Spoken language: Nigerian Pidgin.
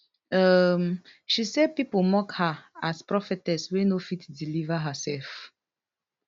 um she say pipo mock her as prophetess wey no fit deliver hersef